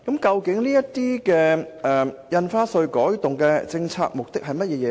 這些印花稅改動的政策目的究竟為何？